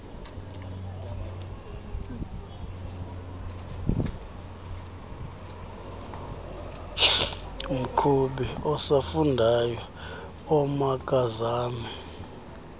mqhubi osafundayo omakazame